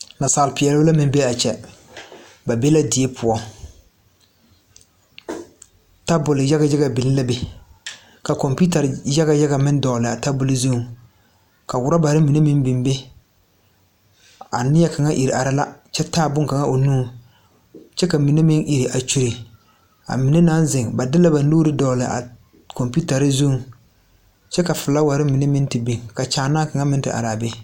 Naasaal peɛɛlbɛ la meŋ bee aa kyɛ ba be la die poɔ tabol yaga yaga biŋ la be ka kɔmpiutarre yaga yaga meŋ dɔglaa tabol zuŋ ka rɔbarre mine meŋ biŋ a nie kaŋa ire araa la kyɛ taa bonkaŋa o nuŋ kyɛ ka mine meŋ ire a kyure a mine naŋ zeŋ ba de la ba nuure dɔgle a kɔmpiutarre zuŋ kyɛ ka flaawarre mine meŋ te biŋ ka kyaanaa kaŋa meŋ te araa be.